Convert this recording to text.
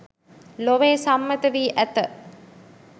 ලොවේ සම්මත වී ඇත